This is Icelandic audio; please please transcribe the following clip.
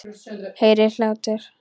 Heyri hlátur hans.